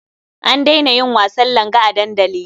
An daina yin wasan langa a dandali.